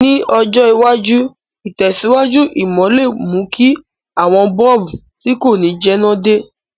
Ní ọjọ̀ iwájú, ìtẹ̀síwájú ìmò le mú ki àwon bulb ti ko ni jẹná de